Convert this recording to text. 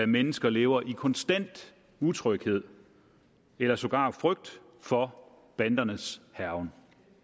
mennesker lever i konstant utryghed eller sågar frygt for bandernes hærgen